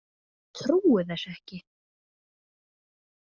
Ég trúi þessu ekki.